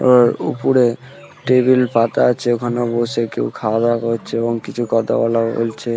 আর ওপরে টেবিল পাতা আছে ওখানেও বসে কেউ খাওয়া দাওয়া করছে এবং কিছু কথা বলা বলছে ।